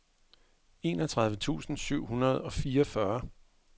enogtredive tusind syv hundrede og fireogfyrre